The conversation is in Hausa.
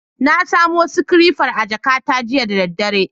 Na samo sikirefar a jakata jiya da daddare.